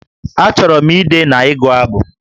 Achọrọ m ide na ịgụ abụ